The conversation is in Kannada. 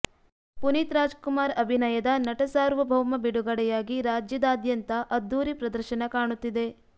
ಪುನೀತ್ ರಾಜಕುಮಾರ್ ಅಭಿನಯದ ನಟಸಾರ್ವಭೌಮ ಬಿಡುಗಡೆಯಾಗಿ ರಾಜ್ಯದಾದ್ಯಂತ ಅದ್ಧೂರಿ ಪ್ರದರ್ಶನ ಕಾಣುತ್ತಿದೆ